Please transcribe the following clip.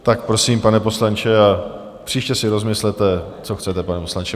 Tak prosím, pane poslanče, příště si rozmyslete, co chcete, pane poslanče.